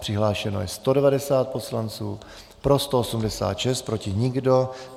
Přihlášeno je 190 poslanců, pro 186, proti nikdo.